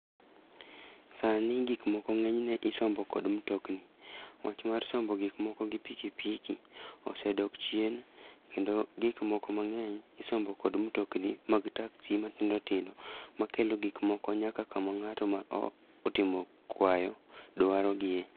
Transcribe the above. Sani gikmoko ng'eny ne isombo kod mtokni. Wach mar sombo gik moko gi piki piki osedok chien, kendo gik moko mang'eny isombo kod mtokni mag taksi matindo tindo. Ma kelo gik moko nyaka kama ng'ato ma o otimo kwayo dwaro gie.